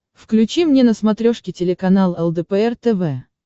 включи мне на смотрешке телеканал лдпр тв